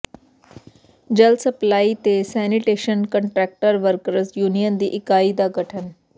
ਜਲ ਸਪਲਾਈ ਤੇ sanitation contractor workers union ਦੀ ਇਕਾਈ ਦਾ ਗਠਨ